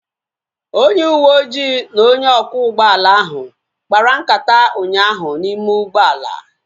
Onye uweojii na onye ọkwọ ụgbọala ahụ kpara nkata ụnyaahụ n'ime ụgbọala